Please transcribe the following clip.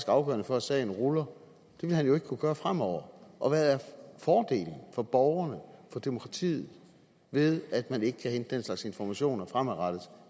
afgørende for at sagen ruller det vil han jo ikke kunne gøre fremover og hvad er fordelen for borgerne for demokratiet ved at man ikke kan hente den slags informationer fremadrettet